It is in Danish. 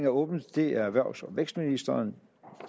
åbnet det er erhvervs og vækstministeren